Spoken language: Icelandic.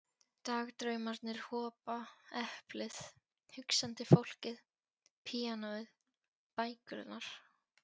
Dagdraumarnir hopa, eplið, hugsandi fólkið, píanóið, bækurnar.